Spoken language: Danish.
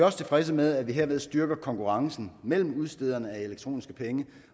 også tilfredse med at vi herved styrker konkurrencen mellem udstederne af elektroniske penge